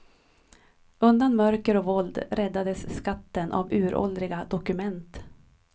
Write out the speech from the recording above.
Undan mörker och våld räddades skatten av uråldriga dokument.